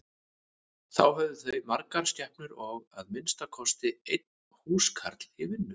Þá höfðu þau margar skepnur og að minnsta kosti einn húskarl í vinnu.